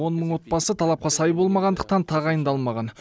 он мың отбасы талапқа сай болмағандықтан тағайындалмаған